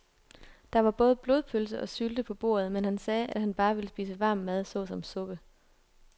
Der var både blodpølse og sylte på bordet, men han sagde, at han bare ville spise varm mad såsom suppe.